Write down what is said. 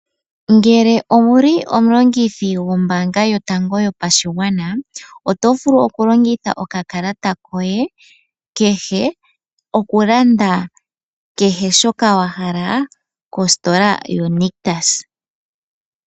Ngele owuli omulongithi gwombaanga yotango yopashingwana otovulu okulongitha okakalata koye kehe okulanda kehe shoka wahala kositola yo nictus.